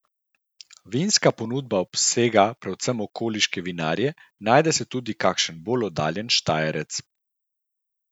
Vinska ponudba obsega predvsem okoliške vinarje, najde se tudi kakšen bolj oddaljen štajerec.